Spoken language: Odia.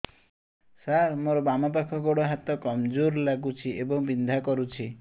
ସାର ମୋର ବାମ ପାଖ ଗୋଡ ହାତ କମଜୁର ଲାଗୁଛି ଏବଂ ବିନ୍ଧା କରୁଛି